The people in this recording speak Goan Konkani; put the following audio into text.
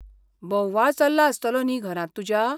बोव्वाळ चल्ला आसतलो न्ही घरांत तुज्या?